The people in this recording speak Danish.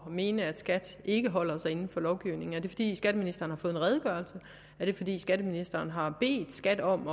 at mene at skat ikke holder sig inden for lovgivningen er det fordi skatteministeren har fået en redegørelse er det fordi skatteministeren har bedt skat om